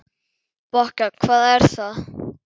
Bokka, hvað er það?